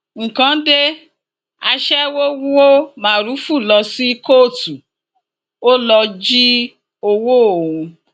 nǹkan dé aṣẹwó wọ mórúfú lọ sí kóòtù ó lọ jí ọwọ òun